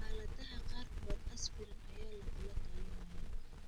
Xaaladaha qaarkood, aspirin ayaa lagula talinayaa.